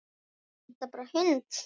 Vantar bara hund.